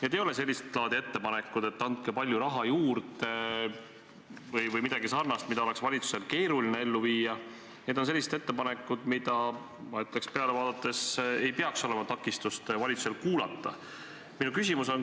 Need ei ole sellist laadi ettepanekud, et andke palju raha juurde või midagi sarnast, mida oleks valitsusel keeruline ellu viia, need on sellised ettepanekud – ma ütleks neile peale vaadates –, mille kuulamiseks ei peaks valitsusel takistust olema.